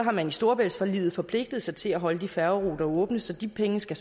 har man i storebæltsforliget forpligtet sig til at holde de færgeruter åbne så de penge skal